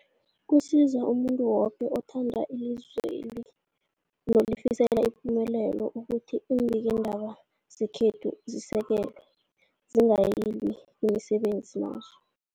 Kusiza umuntu woke othanda ilizweli nolifisela ipumelelo ukuthi iimbikiindaba zekhethu zisekelwe, zingaliywa emsebenzini wazo.